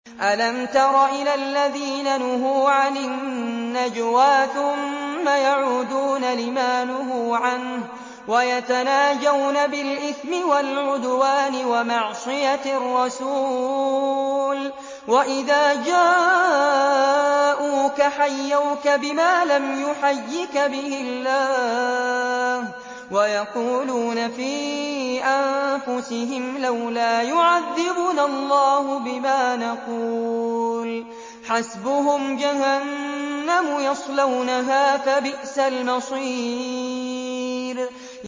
أَلَمْ تَرَ إِلَى الَّذِينَ نُهُوا عَنِ النَّجْوَىٰ ثُمَّ يَعُودُونَ لِمَا نُهُوا عَنْهُ وَيَتَنَاجَوْنَ بِالْإِثْمِ وَالْعُدْوَانِ وَمَعْصِيَتِ الرَّسُولِ وَإِذَا جَاءُوكَ حَيَّوْكَ بِمَا لَمْ يُحَيِّكَ بِهِ اللَّهُ وَيَقُولُونَ فِي أَنفُسِهِمْ لَوْلَا يُعَذِّبُنَا اللَّهُ بِمَا نَقُولُ ۚ حَسْبُهُمْ جَهَنَّمُ يَصْلَوْنَهَا ۖ فَبِئْسَ الْمَصِيرُ